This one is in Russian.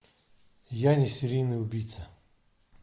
я не серийный убийца